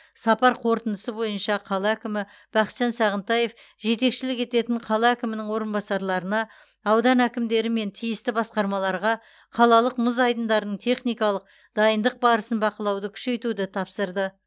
сапар қорытындысы бойынша қала әкімі бақытжан сағынтаев жетекшілік ететін қала әкімінің орынбасарларына аудан әкімдері мен тиісті басқармаларға қалалық мұз айдындарының техникалық дайындық барысын бақылауды күшейтуді тапсырды